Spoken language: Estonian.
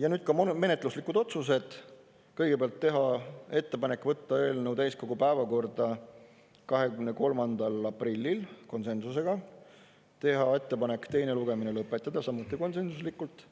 Ja nüüd menetluslikud otsused: kõigepealt teha ettepanek võtta eelnõu täiskogu päevakorda 23. aprillil, konsensusega; teha ettepanek teine lugemine lõpetada, samuti konsensuslikult;